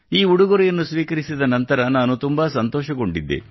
ಈ ಉಡುಗೊರೆಯನ್ನು ಸ್ವೀಕರಿಸಿದ ನಂತರ ನಾನು ತುಂಬಾ ಸಂತೋಷಗೊಂಡಿದ್ದೆ